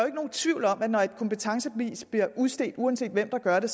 tvivl om at når et kompetencebevis bliver udstedt uanset hvem der gør det